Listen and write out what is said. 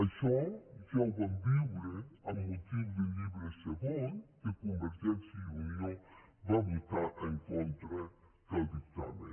això ja ho vam viure amb motiu del llibre segon que convergència i unió va votar en contra del dictamen